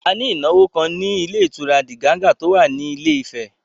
A ní ìnáwó kan ní ilé ìtura Diganga tó wà ní Ilé Ifẹ̀